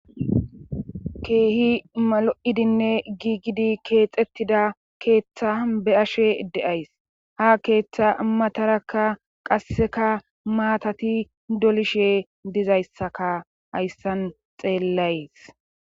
keehi malo7idinne giigidi keexettida keeththa be ashe de7ays ha keeththa matarakka qasseka maatati dolishe dizayssaka hayssan xeellays